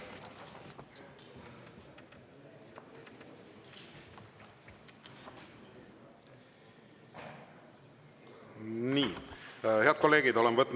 Nii, head kolleegid!